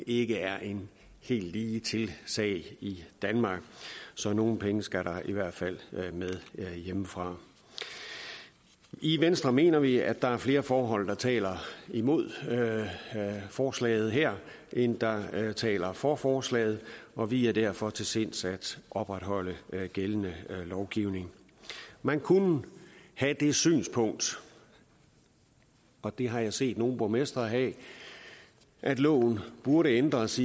ikke er en helt ligetil sag i danmark så nogle penge skal der da i hvert fald med hjemmefra i venstre mener vi at der er flere forhold der taler imod forslaget her end der taler for forslaget og vi er derfor til sinds at opretholde gældende lovgivning man kunne have det synspunkt og det har jeg set nogle borgmestre have at loven burde ændres